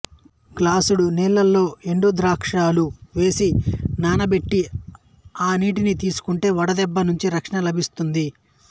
గ్లాసుడు నీళ్లలో ఎండు ద్రాక్షలు వేసి నానపెట్టి ఆ నీటిని తీసుకుంటే వడదెబ్బ నుంచి రక్షణ లభిస్తుంది